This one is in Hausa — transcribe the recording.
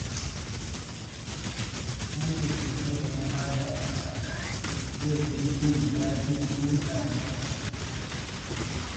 Wanda ke nazarin halayensa zai fi jin daɗin hulɗa da mutane.